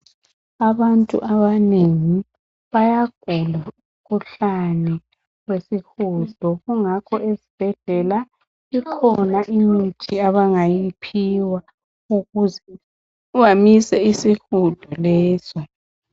Abantu abanengi bayagula umkhuhlane wesihudo. Kungakho ezibhedlela, kukhona imithi abangayiphiwa ukuze bamise isihudo leso.